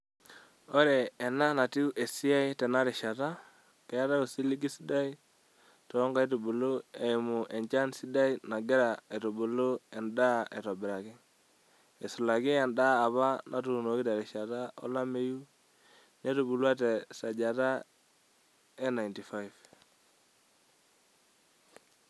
Ore ena enatiu esiai tena rishata, keetae osiligi sidai too nkaitubulu eimu enchan sidai nagira aitubulu endaa aitobiraki, eisulaki endaa apa natuunoki terishata olameyu netubulua te sajata e 95.